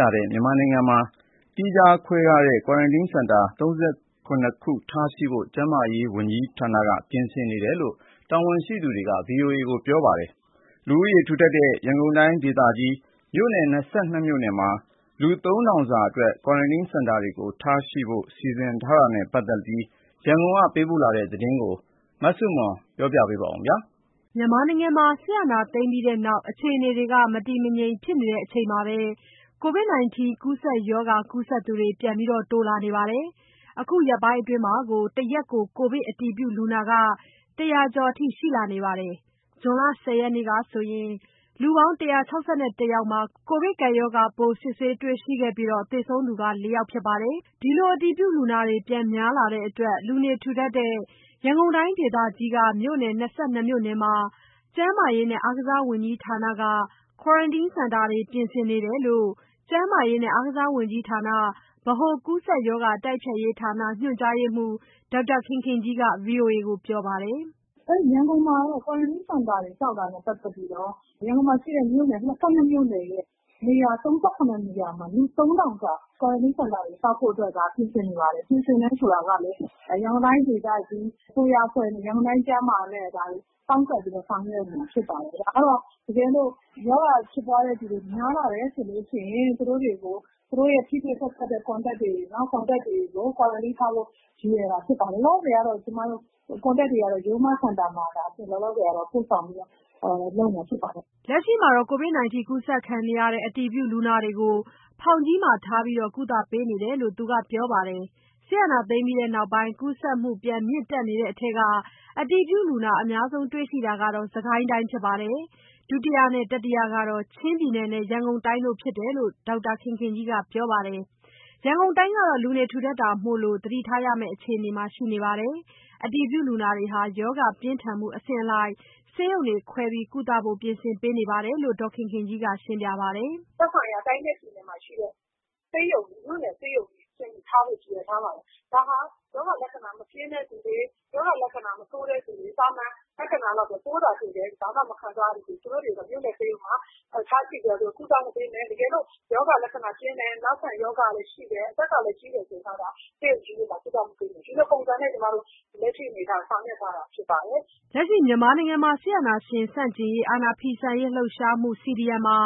လာနေတဲ့ မြန်မာနိုင်ငံမှာ သီးခြားခွဲထားတဲ့ ကွာရန်တင်းစင်တာ ၃၇ ခု ထားရှိဖို့ ကျန်းမာရေးဝန်ကြီးဌာနက ပြင်ဆင်နေတယ်လို့ တာဝန်ရှိသူက ဗွီအိုအေကို ပြောပါတယ်။ လူဦးရေထူထပ်တဲ့ ရန်ကုန်တိုင်းဒေသကြီး မြို့နယ် ၂၂ မြို့နယ်မှာ လူ ၃၀၀၀ စာ ကွာရန်တင်းစင်တာတွေထားရှိဖို့ စီစဉ်နေတာနဲ့ပတ်သက်လို့ ရန်ကုန်ကလာတဲ့သတင်းကို မဆုမွန်ကပြောပြပါမယ်။ စစ်အာဏာသိမ်းပြီးနောက် အခြေအနေတွေ မတည်မငြိမ်ဖြစ်နေချိန် ကိုဗစ်ရောဂါကူးစက်သူတွေ ပြန်တိုးနေပါတယ်။ အခုရက်ပိုင်းအတွင်း တရက်ကို ကိုဗစ်အတည်ပြုလူနာ ၁၀၀ ကျော်ထိ ရောက်လာတာမှာ ဇွန်လ ၁၀ ရက်နေ့ကဆို ၁၆၁ ယောက်မှာ ကိုဗစ်ကပ်ရောဂါပိုး စစ်ဆေး တွေ့ရှိခဲ့ပါတယ်။ သေဆုံးသူက ၄ ယောက်ဖြစ်ပါတယ်။ အတည်ပြုလူနာတွေ ပြန်များလာတဲ့အတွက် လူနေထူထပ်တဲ့ ရန်ကုန်တိုင်းဒေသကြီး မြို့နယ် ၂၂ မြို့နယ်မှာ ကျန်းမာရေးနဲ့ အားကစားဝန်ကြီးဌာနက quarantine စင်တာတွေ ပြင်ဆင်နေတယ်လို့ ကျန်းမာရေးနဲ့ အားကစားဝန်ကြီးဌာန ဗဟိုကူးစက်ရောဂါတိုက်ဖျက်ရေးဌာန ညွှန်ကြားရေးမှူး ဒေါက်တာခင်ခင်ကြီးက ဗွီအိုအေကိုပြောပါတယ်။ “ရန်ကုန် ကွာရန်တင်းစင်တာတွေနဲ့ပတ်သတ်ပြီးတော့ ရန်ကုန်မြို့နယ် ၂၂ မြို့နယ်ရဲ့ မြို့နယ် ၃၇ နေရာမှာ လူ ၃၀၀၀ စာ ကွာရန်တင်းစင်တာဆောက်ဖို့လုပ်နေပါတယ်။ ပြင်ဆင်နေတာက လည်း ရန်ကုန်တိုင်းဒေသကြီး အစိုးရအဖွဲ့နဲ့ ကျန်းမာရေး ဌာနတို့ ပေါင်းလုပ်နေပါတယ်။ ဒါကတော့ တကယ်လို့ ရောဂါဖြစ်ပွားတာများလာလို့ရှိရင် သူတို့နဲ့ထိတွေ့ဆက်စပ်သူတွေကို ကွာရန်တင်းထား ဖို့ရည်ရွယ်တာဖြစ်တယ်။ လောလောဆယ် Contact တွေကို ရိုးမစင်တာကိုပို့ဆောင်ထားပါတယ်။" လက်ရှိမှာ အတည်ပြုလူနာတွေကို ဖောင်ကြီးမှာထား ကုသပေးနေတယ်လို့ သူက ပြောပါတယ်။ စစ်အာဏာသိမ်းပြီးနောက်ပိုင်း ကူးစက်မှု ပြန်မြင့်တက်နေတဲ့ထဲက အတည်ပြုလူနာ အများဆုံးတွေ့ရှိတာက စစ်ကိုင်းတိုင်း ဖြစ်ပါတယ်။ ဒုတိယနဲ့ တတိယကတော့ ချင်းနဲ့ ရန်ကုန်တိုင်းတို့ဘဲဖြစ်တယ်လို့ ဒေါက်တာ ဒေါ်ခင်ခင်ကြီးကပြောပါတယ်။ ရန်ကုန်တိုင်းကတော့ ထူတပ်တာမို့ ဖြစ်နေတာမို့ သတိထားရမယ့် အခြေအနေမှာရှိနေတယ်လို့ပြောပါတယ်။ အတည်ပြုလူနာတွေထဲမှာ ရောဂါ ပြင်းထန်မှု အဆင့်အလိုက် ဆေးရုံတွေခွဲ ကုသဖို့ ပြင်ဆင်ထားတာကိုလည်း ဒေါ်ခင်ခင်ကြီးက ခုလို ရှင်းပြပါတယ်။ “ သက်ဆိုင်ရာ တိုင်းနဲ့ပြည်နယ်မှာရှိတဲ့ မြို့နယ်ဆေးရုံတွေမှာထားဖို့ရည်ရွယ်ထားပါတယ်။ ဒါဟာရောဂါလက္ခဏာမပြင်းတဲ့သူတွေ၊ သာမန်လက္ခဏာ၊ ပိုးသာတွေ့တယ် ဘာမှမခံစားရသူ တွေကို မြို့နယ်ဆေးရုံတွေမှာ ကုသမှုပေူမယ်။ တကယ်လို့ ရောဂါလက္ခဏာကြီးတယ်။ နောက်ခံ ရောဂါ ရှိတယ်။ အသက်ကြီးသူတွေကျတော့ ဆေးရုံကြီးတွေမှာကုမယ်လို့ လက်ရှိမှာဆောင်ရွက်ထားပါတယ်။" လက်ရှိ မြန်မာမှာ အာဏာဖီဆန်ရေးလှုပ်ရှားမှု CDM မှာ